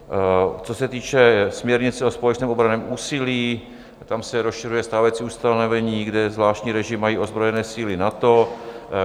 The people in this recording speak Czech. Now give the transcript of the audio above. Co se týče směrnice o společném obranném úsilí, tam se rozšiřuje stávající ustanovení, kde zvláštní režim mají ozbrojené síly NATO.